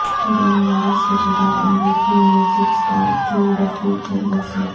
corona virus کے شکار امریکی میوزک اسٹار جو ڈفی چل بسے